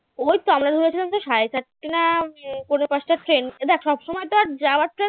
ওই তো আমরা ধরেছিলাম যে সাড়ে চারটা না পোনে পাঁচটার train এ দেখ সবসময় তো আর যাওয়ার train